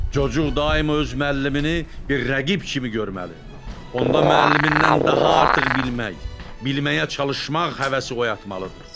Cooğu daima öz müəllimini bir rəqib kimi görməli, onda müəllimindən daha artıq bilmək, bilməyə çalışmaq həvəsi oyatmalıdır.